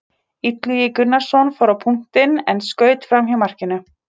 Illugi Gunnarsson fór á punktinn en skaut framhjá markinu.